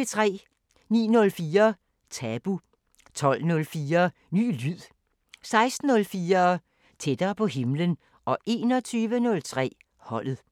09:04: Tabu 12:04: Ny lyd 16:04: Tættere på himlen 21:03: Holdet